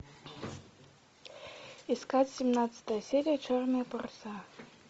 искать семнадцатая серия черные паруса